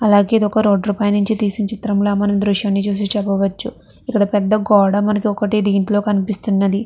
అలాగే ఇది ఒక రోడ్ ల పై నుంచి తీసి చిత్రంల మన దృశ్యాన్ని చూసి చెప్పవచ్చు ఇక్కడ పెద్ద గోడ మనకి ఒకటి దీంట్లో కనిపిస్తున్నది.